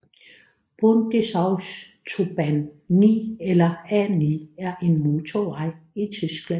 Bundesautobahn 9 eller A 9 er en motorvej i Tyskland